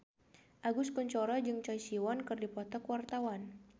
Agus Kuncoro jeung Choi Siwon keur dipoto ku wartawan